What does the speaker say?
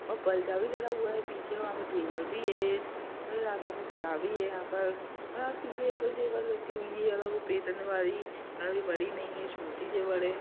और पलदा भी लगा हुआ है पीछे वहाँ पे टेबल भी है भी है यहाँ पर वह पीछे एक और टेबल रखी हुई है काफी बड़ी नहीं है छोटी टेबल है।